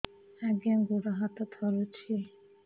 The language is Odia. ଆଜ୍ଞା ଗୋଡ଼ ହାତ ଥରୁଛି